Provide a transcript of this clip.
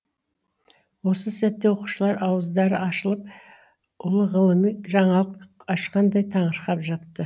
осы сәтте оқушылар ауыздары ашылып ұлы ғылыми жаңалық ашқандай таңырқап жатты